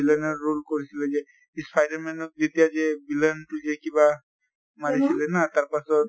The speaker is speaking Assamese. villain ৰ role কৰিছিলে যে spider man ত যেতিয়া যে villain টোযে কিবা মাৰিছিলে না তাৰ পাছত